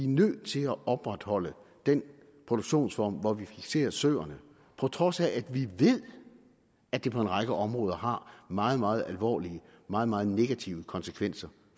nødt til at opretholde den produktionsform hvor vi fikserer søerne på trods af at vi ved at det på en række områder har meget meget alvorlige meget meget negative konsekvenser